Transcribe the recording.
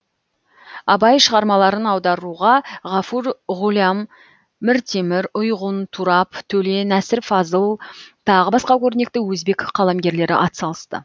абай шығармаларын аударуға ғафур ғулям міртемір ұйғун турап төле нәсір фазыл тағы басқа көрнекті өзбек қаламгерлері атсалысты